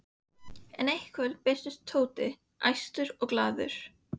En eitt kvöldið birtist Tóti, æstur og glaður.